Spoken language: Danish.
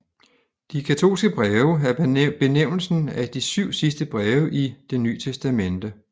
De katolske breve er benævnelsen af de syv sidste breve i Det Nye Testamente